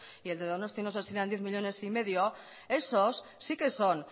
y el de donostia no sé si eran diez millónes y medio esos sí que son